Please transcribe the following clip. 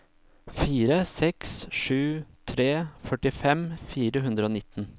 fire seks sju tre førtifem fire hundre og nitten